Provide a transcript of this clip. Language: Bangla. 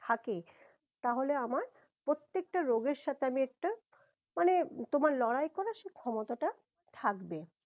থাকে তাহলে আমার প্রত্যেক টা রোগের সাথে আমি একটা মানে তোমার লড়াই করার সে ক্ষমতাটা থাকবে